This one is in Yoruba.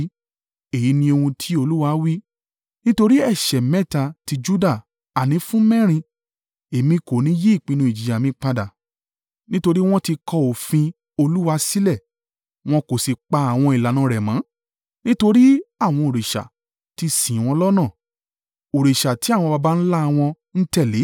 Èyí ni ohun tí Olúwa wí, “Nítorí ẹ̀ṣẹ̀ mẹ́ta ti Juda, àní fún mẹ́rin, Èmi kò ní yí ìpinnu ìjìyà mi padà. Nítorí wọn ti kọ òfin Olúwa sílẹ̀, wọn kò sì pa àwọn ìlànà rẹ̀ mọ́. Nítorí àwọn òrìṣà ti sì wọ́n lọ́nà, òrìṣà tí àwọn Baba ńlá wọn ń tẹ̀lé,